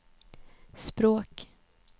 språk